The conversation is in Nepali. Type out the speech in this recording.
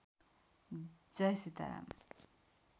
जय सीताराम